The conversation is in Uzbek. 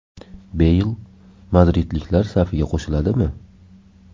Beyl madridliklar safiga qo‘shiladimi?.